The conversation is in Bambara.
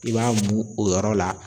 I b'a mun o yɔrɔ la.